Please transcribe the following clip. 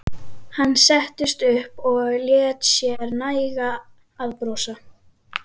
Hann settist upp og lét sér nægja að brosa.